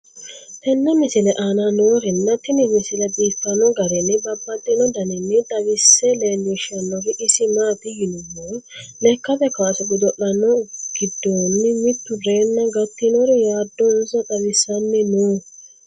tenne misile aana noorina tini misile biiffanno garinni babaxxinno daniinni xawisse leelishanori isi maati yinummoro lekkatte kaasse godo'lanno gidoonni mittu reenna gatinnori yaadonsa xawisaanni noo